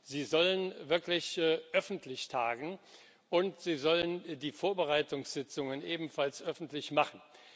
Er soll wirklich öffentlich tagen, und er soll die Vorbereitungssitzungen ebenfalls öffentlich machen.